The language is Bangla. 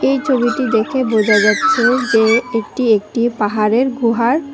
এই ছবিটি দেখে বোঝা যাচ্ছে যে এটি একটি পাহাড়ের গুহার--